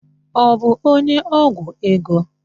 Ọ bụ onye ọgwụ ego?